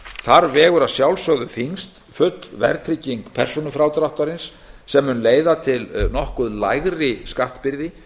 þar vegur að sjálfsögðu þyngst full verðtrygging persónufrádráttarins sem mun leiða til nokkuð lægri skattbyrði